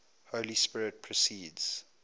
holy spirit proceeds